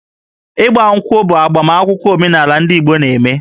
Ị́gbá ǹkwụ̀ bụ agbamakwụkwọ omenala ndị Igbo na-eme